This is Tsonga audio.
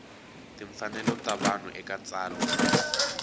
timfanelo ta vanhu eka tsalwa